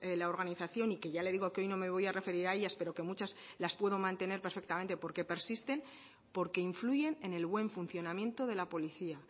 la organización y que ya le digo que hoy no me voy a referir a ellas pero que muchas las puedo mantener perfectamente porque persisten porque influyen en el buen funcionamiento de la policía